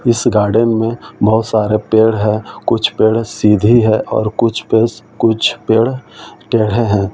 इस गार्डन में बहुत सारे पेड़ हैं कुछ पेड़ सीधी है और कुछ पे कुछ पेड़ टेढ़े हैं।